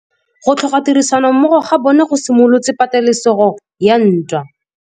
Go tlhoka tirsanommogo ga bone go simolotse patêlêsêgô ya ntwa.